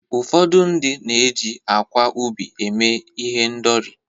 ụfọdụ ndị na-eji akwa ubi eme ihendori